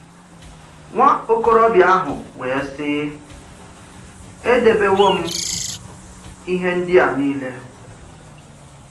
Nwà-òkòrọ̀bìà ahụ̀ wé sị, “Èdèbéwòm ìhè ndí̀à niilè.”